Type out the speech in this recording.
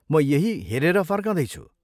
म यही हेरेर फर्कँदैछु।